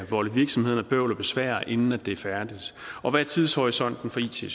volde virksomhederne bøvl og besvær inden det er færdigt og hvad er tidshorisonten for it